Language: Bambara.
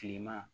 Kilema